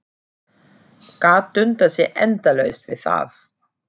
Gat dundað sér endalaust við það.